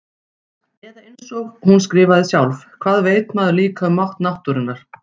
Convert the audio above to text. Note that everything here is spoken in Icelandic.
Eða einsog hún skrifaði sjálf: Hvað veit maður líka um mátt náttúrunnar.